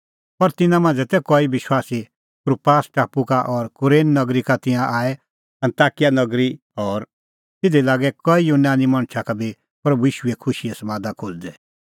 पर तिन्नां मांझ़ै तै कई विश्वासी कुप्रास टापू का और कुरेन नगरी का तिंयां आऐ अन्ताकिया नगरी और तिधी लागै कई यूनानी मणछा का बी प्रभू ईशूए खुशीए समादा खोज़दै